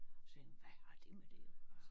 Så jeg hvad har det med det at gøre